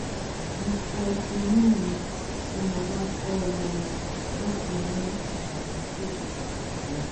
mo fọ eyín mi tí mo bá gbọ́ orin láti mú àkókò lọ